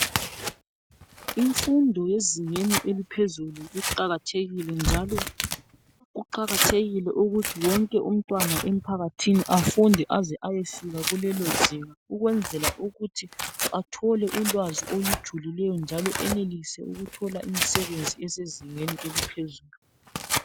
Imfundo yezingeni eliphezulu iqakathekile njalo kumele wonke umtwana emphakathini afunde aze ayefika kulelozinga ukwenzela ukuthi athole ulwazi olujulileyo njalo enelise ukuthola imisebenzi esezingeni eliphezulu.